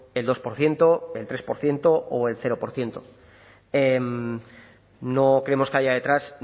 el dos por ciento el tres por ciento o el cero por ciento no creemos que haya detrás